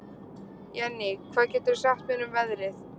Jenný, hvað geturðu sagt mér um veðrið?